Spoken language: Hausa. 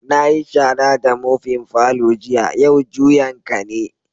Na yi shara da mofin' falon jiya, yau juyan ka ne.